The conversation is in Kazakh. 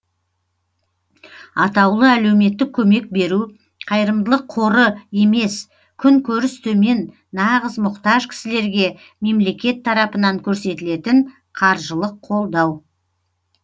атаулы әлеуметтік көмек беру қайырымдылық қоры емес күн көріс төмен нағыз мұқтаж кісілерге мемлекет тарапынан көрсетілетін қаржылық қолдау